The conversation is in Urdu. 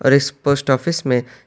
اور اس پوسٹ آفس میں--